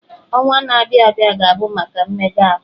Ọnwa na-abịa abịa ga-abụ maka mmega ahụ.